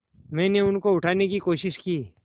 मैंने उनको उठाने की कोशिश की